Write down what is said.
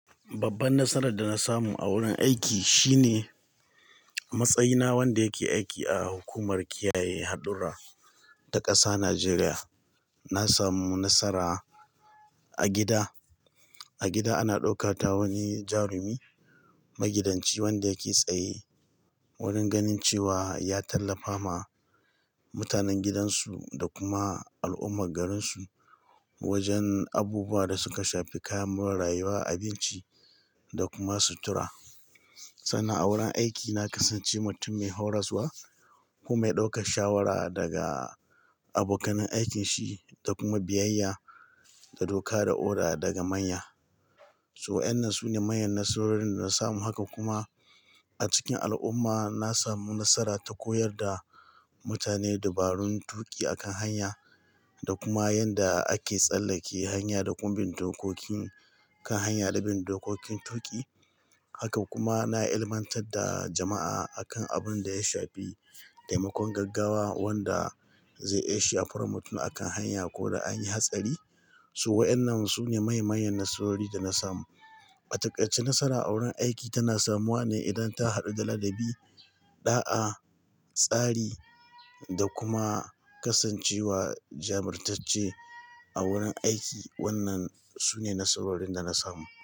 Babban nasarar da na samu a wurin aiki shine matsayina wanda yake aiki a hukumar kiyaye haɗura ta ƙasa Nijeriya. Na samu nasara a gida, a gida ana ɗauka ta wani jarumi magidanci wanda yake tsaye wurin ganin cewa ya tallafa ma mutanen gidansu da kuma al'ummar garinsu wajen abubuwa da suka shafi kayan more rayuwa, abinci da kuma sutura. Sannan a wurin aiki na kasance mutum mai horaswa kuma mai ɗaukar shawara daga abokan aikin shi da kuma biyayya da doka da oda daga manya. So waɗannan sune manyan nasarorin da na samu. Haka kuma a cikin al'umma na samu nasara ta koyar da mutane dabarun tuƙi a kan hanya da kuma yadda ake tsallake hanya da kuma bin dokokin kan hanya da bin dokokin tuƙi. Haka kuma na ilmantar da jama'a akan abin da ya shafi taimakon gaggawa wanda zai iya shafar mutum a kan hanya ko da an yi hatsari. So waɗannan sune manya manyan nasarori da na samu. A taƙaice nasara a wurin aiki tana samuwa ne idan ta haɗu da ladabi, ɗa'a, tsari da kuma kasancewa jamurtacce a wurin aiki. Wannan sune nasarorin da na samu.